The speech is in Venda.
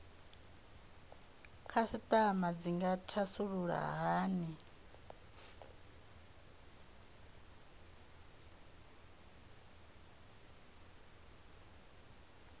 khasitama dzi nga thasulula hani